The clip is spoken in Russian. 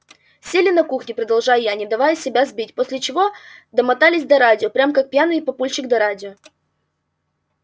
сели на кухне продолжаю я не давая себя сбить после чего домотались до радио прям как пьяный папульчик до радио